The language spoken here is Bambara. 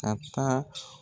A bɛ taa